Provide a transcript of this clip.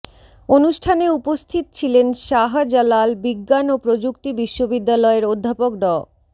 অনুষ্ঠানে উপস্থিত ছিলেন শাহজালাল বিজ্ঞান ও প্রযুক্তি বিশ্ববিদ্যালয়ের অধ্যাপক ড